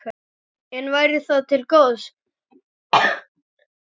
En væri það til góðs?